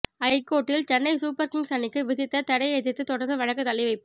ஐகோர்ட்டில் Chennai super kings அணிக்கு விதித்த தடையை எதிர்த்து தொடர்ந்த வழக்கு தள்ளிவைப்பு